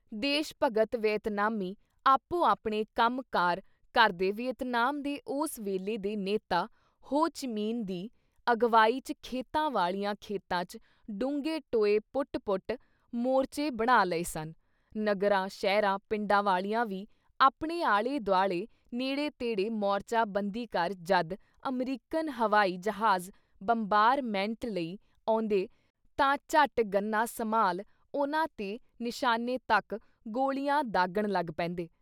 ਦੇਸ਼ ਭਗਤ ਵੀਤਨਾਮੀ ਆਪੋ-ਆਪਣੇ ਕੰਮ ਕਾਰ ਕਰਦੇ ਵੀਤਨਾਮ ਦੇ ਉਸ ਵੇਲੇ ਦੇ ਨੇਤਾ ਹੋ ਚੀਮਿੰਨ ਦੀ ਅਗਵਾਈ ‘ਚ ਖੇਤਾਂ ਵਾਲਿਆਂ ਖੇਤਾਂ ‘ਚ ਡੂੰਘੇ ਟੋਏ ਪੁੱਟ ਪੁੱਟ ਮੋਰਚੇ ਬਣਾ ਲਏ ਸਨ, ਨਗਰਾਂ, ਸ਼ਹਿਰਾਂ, ਪਿੰਡਾਂ ਵਾਲਿਆਂ ਵੀ ਆਪਣੇ ਆਲ਼ੇ-ਦੁਆਲੇ ਨੇੜੇ-ਤੇੜੇ ਮੋਰਚਾ ਬੰਦੀ ਕਰ ਜਦ ਅਮਰੀਕਰਨ ਹਵਾਈ ਜਹਾਜ਼ ਬੰਬਾਰ ਮੈਂਟ ਲਈ ਆਉਂਦੇ ਤਾਂ ਝੱਟ ਗੰਨਾ ਸੰਮਾਲ੍ਹ ਉਨ੍ਹਾਂ ਤੇ ਨਿਸ਼ਾਨੇ ਤੱਕ ਗੋਲ਼ੀਆਂ ਦਾਗਣ ਲੱਗ ਪੈਂਦੇ।